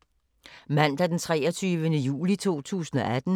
Mandag d. 23. juli 2018